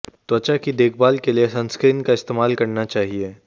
त्वचा की देखभाल के लिए सनस्क्रीन का इस्तेमाल करना चाहिए